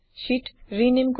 sheet rename কৰিব